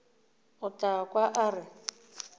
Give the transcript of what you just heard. o tla kwa a re